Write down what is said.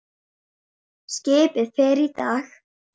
Skipið fer í dag.